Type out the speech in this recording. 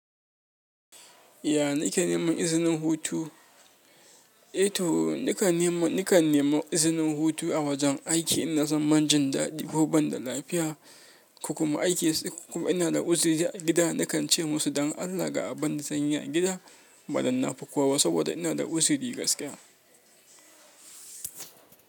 Ya nake neman izinin hutu? E to nakan neman izinin hutu a wajen aiki in na zama banjindaɗi ko ban da lafiya, ko kuma ina da uzuri a gida. Nakan ce musu don Allah ga abinda zanyi a gida ba dan nafi kowa saboda ina da uzuri gaskiya.